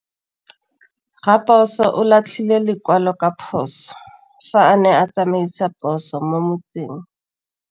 Raposo o latlhie lekwalô ka phosô fa a ne a tsamaisa poso mo motseng.